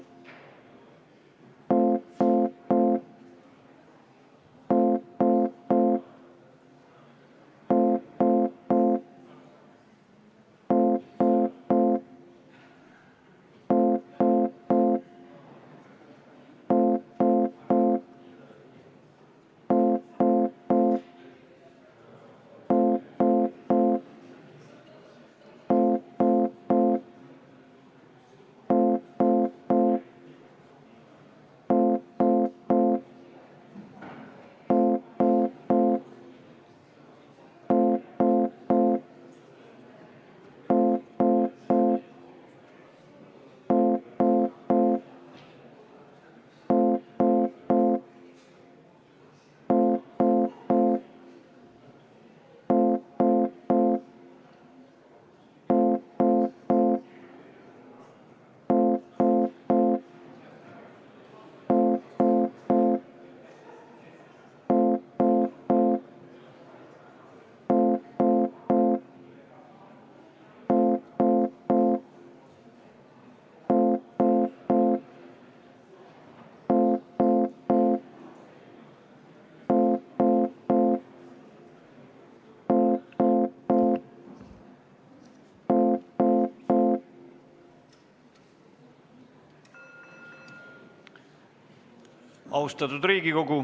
Austatud Riigikogu!